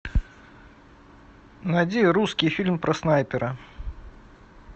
найди русский фильм про снайпера